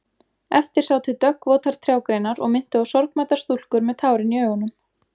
Eftir sátu döggvotar trjágreinar og minntu á sorgmæddar stúlkur með tárin í augunum.